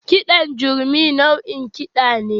Kiɗan gurmi nau'in kiɗa ne